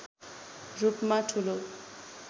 रूपमा ठूलो